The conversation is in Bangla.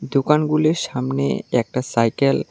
দুকান গুলির সামনে একটা সাইকেল --